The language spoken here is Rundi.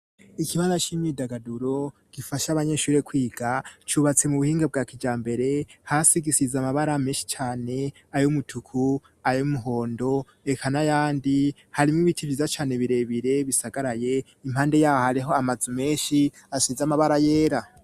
Ikibara c'imyidagaduro gifasha abanyeshuri kwiga cubatsi mu buhinge bwa kijambere hasi gisize amabara menshi cyane ayo mutuku ayo muhondo ekana yandi harimo ibiti biza cyane birebire bisagaraye impande yabo hariho amazu menshi asize amabara yera.